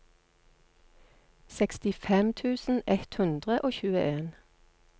sekstifem tusen ett hundre og tjueen